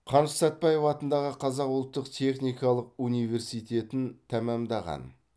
қаныш сәтбаев атындағы қазақ ұлттық техникалық университетін тәмамдаған